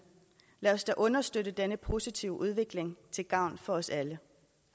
lad os da understøtte denne positive udvikling til gavn for os alle